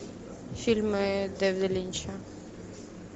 фильмы дэвида линча